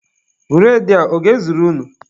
Bụredị a, ọ ga-ezuru unu?